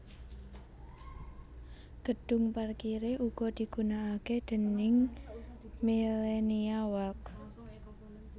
Gedhung parkiré uga digunakake déning Millenia Walk